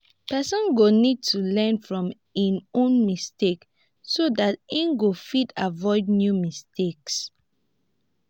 person go need to learn from im own mistakes so dat im go fit avoid new mistakes